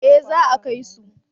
Eh za a kai su